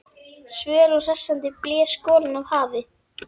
Svöl og hressandi blés golan af hafi.